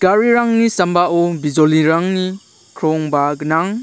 garirangni sambao bijolirangni krongba gnang.